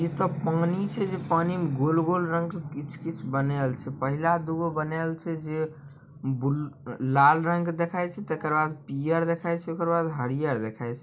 ये तो पानी छै पानी में गोल-गोल रंग के कीछ-कीछ बनायेल छै पहला दूगो बनाएल छै जे बूल लाल रंग के देखाय छै तेकर बाद पियर देखाय छै ओकर बाद हरिहर देखाय छै।